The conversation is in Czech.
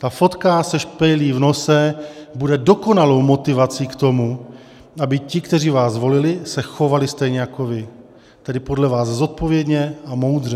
Ta fotka se špejlí v nose bude dokonalou motivací k tomu, aby ti, kteří vás volili, se chovali stejně jako vy, tedy podle vás zodpovědně a moudře.